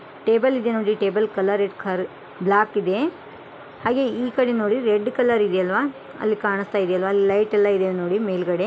Table ಇದೆ ನೋಡಿ table colour ಎಷ್ಟು ಖರ್ ಬ್ಲಾಕ್ ಇದೆ ಹಾಗೆ ಈಕಡೆ ನೋಡಿ ರೆಡ್ ಕಲರ್ ಇದೆ ಆಲ್ವಾ ಅಲ್ಲಿ ಕಾಣಸ್ತಾಯಿದೆ ಆಲ್ವಾ ಅಲ್ಲಿ ಲೈಟ್ ಎಲ್ಲ ಇದೆ ನೋಡಿ ಮೇಲ್ಗಡೆ .